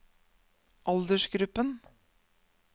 aldersgruppen